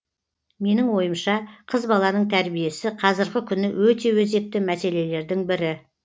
менің ойымша қыз баланың тәрбиесі қазіргі күні өте өзекті мәселелердің бірі